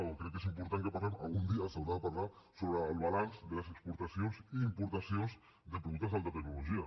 o crec que és important que parlem algun dia s’haurà de parlar sobre el balanç de les exportacions i importacions de productes d’alta tecnologia